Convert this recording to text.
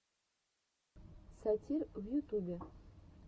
сатир в ютубе